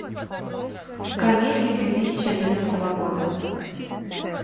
комедии две тысячи одиннадцатого года